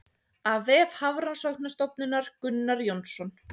Af vef Hafrannsóknastofnunar Gunnar Jónsson.